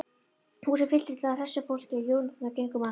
Húsið fylltist af hressu fólki og jónurnar gengu um allt.